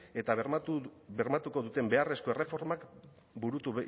eta bermatuko duten beharrezko erreformak burutu